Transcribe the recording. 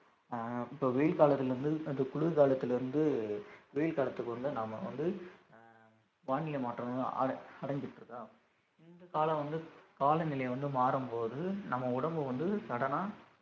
அஹ் இப்ப வெயில் காலத்துல இருந்து அந்த குளிர்காலத்துல இருந்து வெயில் காலத்துக்கு வந்து நாம வந்து அஹ் வானிலை மாற்றம்ன்னு அ~ அடைஞ்சுட்டு இருக்கா இந்த காலம் வந்து காலநிலை வந்து மாறும்போது நம்ம உடம்பு வந்து sudden ஆ